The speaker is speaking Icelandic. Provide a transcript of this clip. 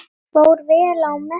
Fór vel á með þeim.